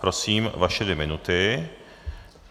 Prosím, vaše dvě minuty.